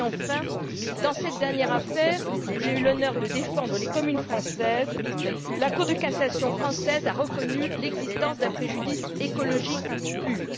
Enfin, dans cette dernière affaire où j'ai eu l'honneur de défendre les communes françaises, la Cour de cassation française a reconnu l'existence d'un préjudice écologique pur.